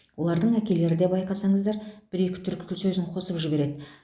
олардың әкелері де байқасаңыздар бір екі түрік сөзін қосып жібереді